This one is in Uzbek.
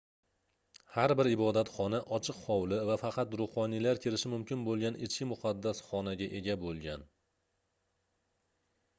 har bir ibodatxona ochiq hovli va faqat ruhoniylar kirishi mumkin boʻlgan ichki muqaddas xonaga ega boʻlgan